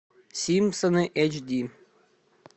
симпсоны эйч ди